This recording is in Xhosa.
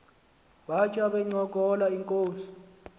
batya bencokola inkos